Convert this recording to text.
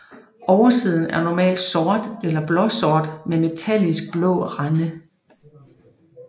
Oversiden er normalt sort eller blåsort med metallisk blå rande